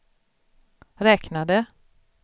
räknade